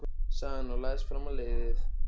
sagði hann og lagðist fram á leiðið.